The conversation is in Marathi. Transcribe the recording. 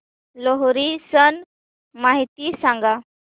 लोहरी सण माहिती सांगा